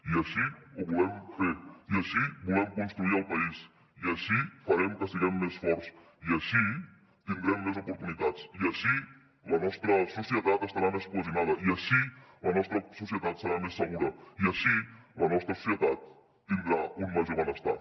i així ho volem fer i així volem construir el país i així farem que siguem més forts i així tindrem més oportunitats i així la nostra societat estarà més cohesionada i així la nostra societat serà més segura i així la nostra societat tindrà un major benestar